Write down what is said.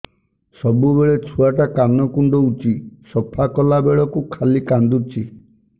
ସବୁବେଳେ ଛୁଆ ଟା କାନ କୁଣ୍ଡଉଚି ସଫା କଲା ବେଳକୁ ଖାଲି କାନ୍ଦୁଚି